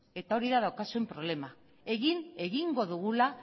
hori da daukazuen problema egin egingo dugula